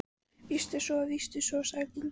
Víst er svo, víst er svo, sagði göngukonan.